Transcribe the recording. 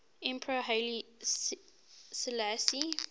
emperor haile selassie